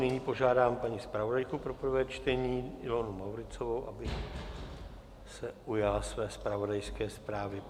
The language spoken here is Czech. Nyní požádám paní zpravodajku pro prvé čtení Ilonu Mauritzovou, aby se ujala své zpravodajské zprávy.